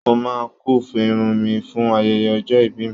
Mo máa quiff irun mi fún ayẹyẹ ọjọ́ ìbí mi.